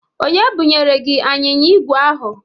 Onye bụnyere gị anyịnya ígwè ahụ?